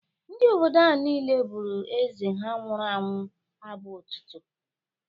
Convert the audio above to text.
Ndị obodo ahụ niile bụrụ Eze ha nwụrụ anwụ abụ otito.